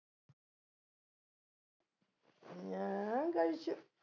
ഞാൻ കഴിച്ചു